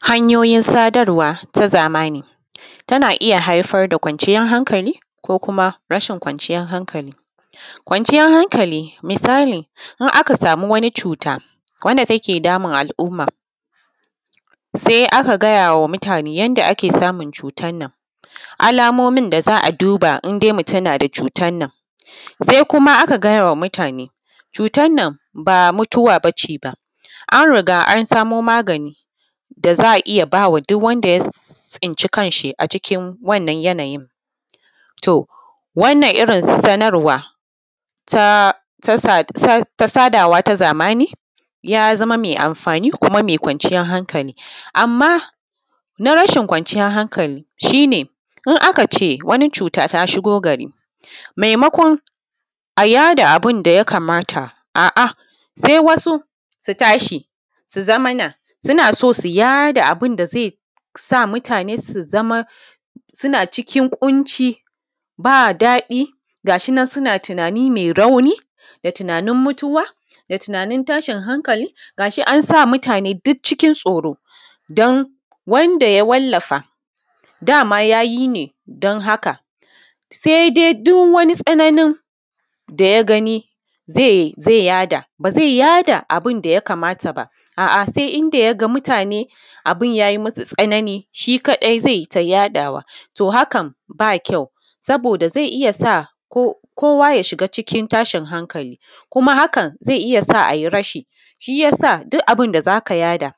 Hanyoyin sadarwa ta zamani tana iya haifar da kwanciyan hankali ko kuma rashin kwanciyan hankali. Kwanciyan hankali misali in aka samu wani cuta wanda take damun al’umma se aka gaya wa mutane yanda ake samun cutan nan alamomin da za a duba indai mutum nada cutan nan, se kuma aka gaya wa mutane cutan nan ba mutuwa ba ce ba an riga an samo magani da za a iya ba wa duk wanda ya tsinci kan shi a cikin wannan yanayin to wanna irin sanarwa ta sada wa ta zamani ya zama me amfani kuma me kwanciyan hankali. Amma na rashin kwanciyan hankali shi ne in aka ce wani cuta ta shigo gari maimukon a yaɗa abun da ya kamata a’a, se wasu su tashi su zamana suna so su haɗa abun da mutane ze sa su zamana suna cikin ƙunci ba daɗi gashi nan suna tunani me rauni da tunanin mutuwa da tunanin tashin hankali gashi an sa mutane duk cikin tsoro. Dan wanda ya wallafa dama ya yi ne don haka se dai duk wani tsananin da ya gani ze yaɗa ba ze yaɗa abun da ya kamata ba, a’a se inda ya sa mutane abun ya yi musu tsanani shi kaɗai ze ta yaɗawa. To, hakan ba kyau saboda ze iya sa kowa ya shiga cikin tashin hankali kuma hakan ze iya sa a yi rashi, shi ya sa duk abun da za ka yaɗa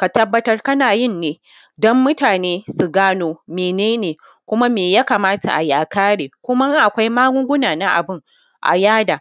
ka tabbatar kana yin ne don mutane su gano mene ne kuma me ya kamata a yi a kare kuma in akwai magunguna na abun a yaɗa.